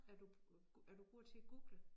Er du er du god til at google?